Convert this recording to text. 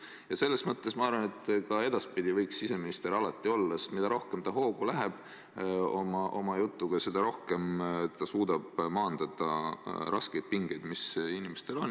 Ja selles mõttes ma arvan, et ka edaspidi võiks siseminister alati saalis olla, sest mida rohkem hoogu ta läheb oma jutuga, seda rohkem ta suudab maandada pingeid, mis inimestel on.